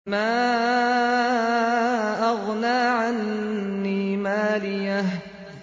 مَا أَغْنَىٰ عَنِّي مَالِيَهْ ۜ